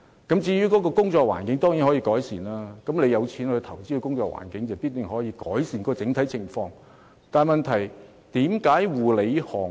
工作環境當然可以改善，只要肯花錢，工作環境必然可得以改善，但問題是，為何護理行業......